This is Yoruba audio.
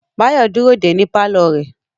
Báyọ̀ dúró dè ẹ́ ní pálọ̀ rẹ̀